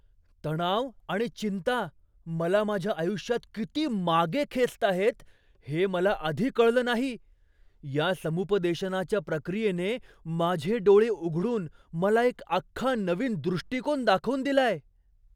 तणाव आणि चिंता मला माझ्या आयुष्यात किती मागे खेचताहेत हे मला आधी कळलं नाही. या समुपदेशनाच्या प्रक्रियेने माझे डोळे उघडून मला एक अख्खा नवीन दृष्टीकोन दाखवून दिलाय!